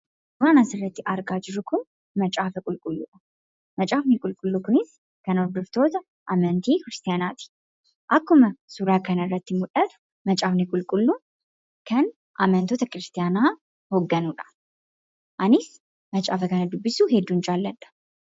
Waan asirratti argaa jirru Kun macaafa qulqulluudha macaafni qulqulluu Kunis kan hordoftoota amantii kiristiyaanaati akkuma suuraa kana irratti mul'atu macaafni qulqulluun kan amantoota kiristiyaanaa hogganudha. Anis macaafa kana dubbisuu hedduun jaaladha